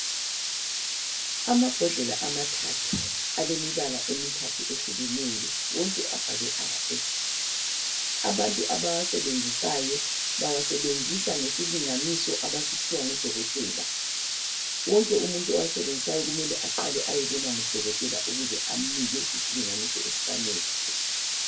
amabhodlela amathathu alemibala emithathu ehlukeneyo wonke abhalwe RS abantu abawasebenzisayo bawasebenzisa ngesilinganiso abasiphiwa ngu dokotela wonke umuntu owasebenzisayo kumele aqale ayebonwa ngudokotela ukuze amnike isilinganiso esifanele